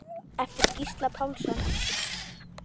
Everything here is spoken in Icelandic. eftir Gísla Pálsson